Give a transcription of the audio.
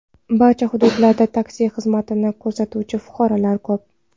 Barcha hududlarda taksi xizmatini ko‘rsatuvchi fuqarolar ko‘p.